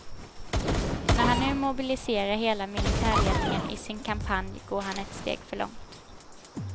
När han nu mobiliserar hela militärledningen i sin kampanj går han ett steg för långt.